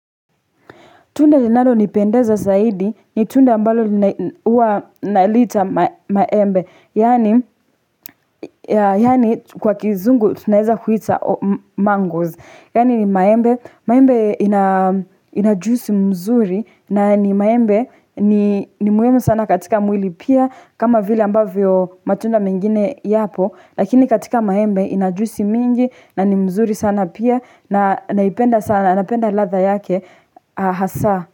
Tunda linalonipendeza zaidi ni tunda ambalo uwa nalita maembe yaani. Yaani kwa kizungu tunaeza kuiita mangoes. Yaani ni maembe maembe ina juisi mzuri na ni maembe ni ni muhimu sana katika mwili pia kama vile ambavyo matunda mengine yapo. Lakini katika maembe ina juisi mingi na ni mzuri sana pia na naipenda sana napenda ladha yake hasaa.